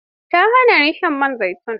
Ta hana ni shan man zaitun.